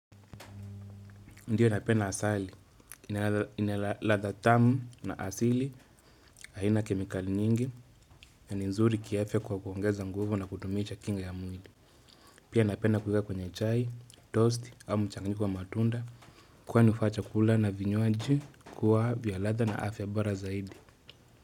Ndiyo napenda asali, ina ladha tamu na asili, haina kemikali nyingi, ni nzuri kiafya kwa kuongeza nguvu na kudumisha kinga ya mwili. Pia napenda kueka kwenye chai, toast, au mchanganyiko wa matunda, kwani hufanya chakula na vinywaji kua vya ladha na afya bora zaidi.